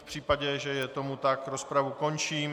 V případě, že je tomu tak, rozpravu končím.